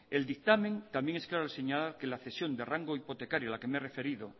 el dictamen también es claro al señalar que la cesión de rango hipotecario a la que me he referido